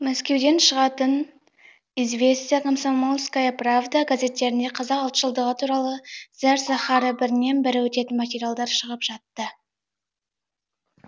мәскеуден шығатын правда известия комсомольская правда газеттерінде қазақ ұлтшылдығы туралы зәр заһары бірінен бірі өтетін материалдар шығып жатты